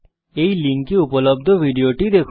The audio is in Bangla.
এই লিঙ্কে উপলব্ধ ভিডিওটি দেখুন